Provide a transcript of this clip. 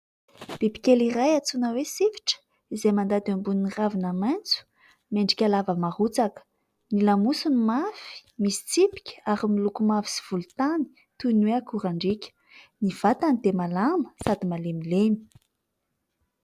Biby kely iray atsoina hoe sifitra izay mandady ambonin'ny ravina maitso miendrika lava marotsaka. Ny lamosiny mafy misy tsipika ary miloko mavo sy volontany toy ny hoe akorandriaka. Ny vatany dia malama sady malemilemy.